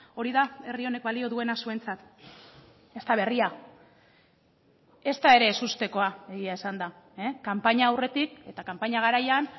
hori da herri honek balio duena zuentzat ez da berria ezta ere ezustekoa egia esanda kanpaina aurretik eta kanpaina garaian